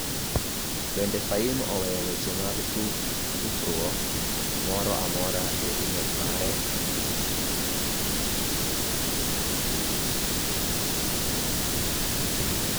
Bende Fahim oweyo weche mag tufruok moro amora e imel mare?